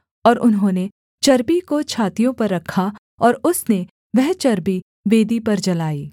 और उन्होंने चर्बी को छातियों पर रखा और उसने वह चर्बी वेदी पर जलाई